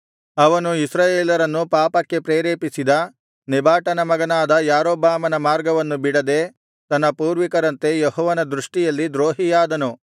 ಅವನು ಇಸ್ರಾಯೇಲರನ್ನು ಪಾಪಕ್ಕೆ ಪ್ರೇರೇಪಿಸಿದ ನೆಬಾಟನ ಮಗನಾದ ಯಾರೊಬ್ಬಾಮನ ಮಾರ್ಗವನ್ನು ಬಿಡದೆ ತನ್ನ ಪೂರ್ವಿಕರಂತೆ ಯೆಹೋವನ ದೃಷ್ಟಿಯಲ್ಲಿ ದ್ರೋಹಿಯಾದನು